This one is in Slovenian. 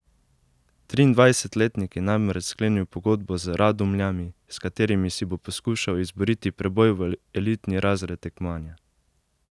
Triindvajsetletnik je namreč sklenil pogodbo z Radomljami, s katerimi si bo poskušal izboriti preboj v elitni razred tekmovanja.